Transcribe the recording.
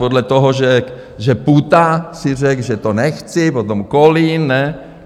Podle toho, že Půta si řekl, že to nechci, potom Kolín, ne?